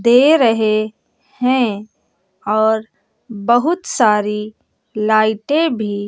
दे रहे हैं और बहुत सारी लाइटें भी--